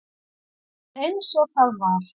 Allt er eins og það var.